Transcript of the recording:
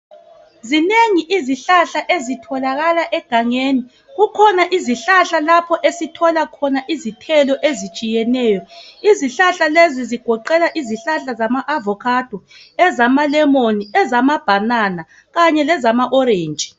Zinengi izihlahla ezitholakala egangeni, kukhona izihlahla lapho esithola khona izithelo ezitshiyeneyo. Izihlahla lezi zigoqela izihlahla zama avokhado, ezama lemoni, ezama bhanana kanye lezama orentshi.